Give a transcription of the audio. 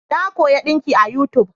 Na koya dinki a yutub